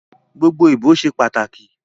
Gbogbo ibo ṣe pataki